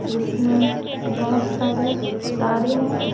जिसमें बहुत सारे तारे हैं।